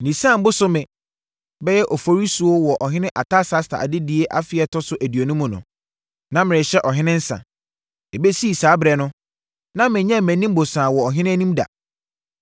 Nisan bosome (bɛyɛ Oforisuo) wɔ Ɔhene Artasasta adedie afe a ɛtɔ so aduonu mu no, na merehyɛ ɔhene nsa. Ɛbɛsi saa ɛberɛ no, na menyɛɛ mʼanim bosaa wɔ ɔhene anim da.